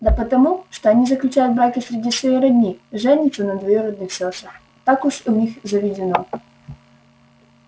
да потому что они заключают браки среди своей родни женятся на двоюродных сёстрах так уж у них заведено